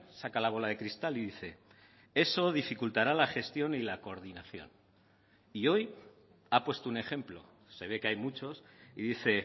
saca la bola de cristal y dice eso dificultará la gestión y la coordinación y hoy ha puesto un ejemplo se ve que hay muchos y dice